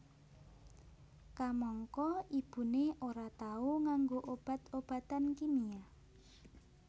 Kamangka ibuné ora tau nganggo obat obatan kimia